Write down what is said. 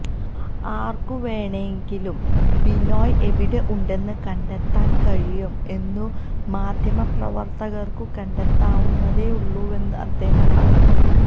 ആർക്കുവേണണെങ്കിലും ബിനോയ് എവിടെ ഉണ്ടെന്ന് കണ്ടെത്താൻ കഴിയും എന്നും മാധ്യമപ്രവർത്തകർക്കും കണ്ടെത്താവുന്നതേ ഉള്ളുവെന്നും അദ്ദേഹം പറഞ്ഞു